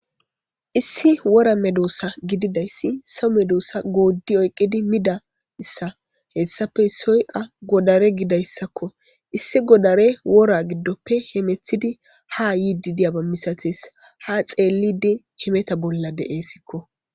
issi wora medoosa gididayssi so medoossa gooddi oyqqidi mida issa hessafe soyqa godare gidayssakko issi godare wora giddoppe hemethidi ha yiidi diyaba misates ha xeellidi hemeta bolla de7eesikko